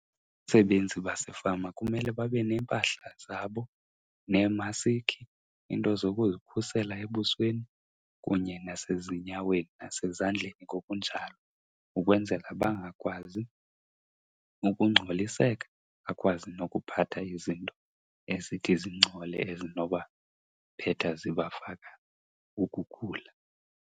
Abasebenzi basefama kumele babe neempahla zabo neemasiki, iinto zokuzikhusela ebusweni kunye nasezinyaweni nasezandleni ngokunjalo. Ukwenzela bangakwazi ukungcoliseka, bakwazi nokuphatha izinto ezithi zingcole ezinobaphetha zibafaka ukugula.